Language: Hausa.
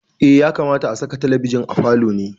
Ya kamata a saka talabijin a falo ne.